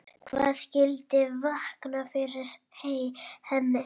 Hvað skyldi vaka fyrir henni?